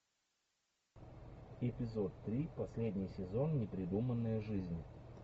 эпизод три последний сезон непридуманная жизнь